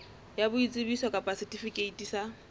ya boitsebiso kapa setifikeiti sa